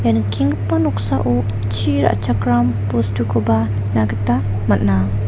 ia nikenggipa noksao chi ra·chakram bostukoba nikna gita man·a.